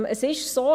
Es ist so: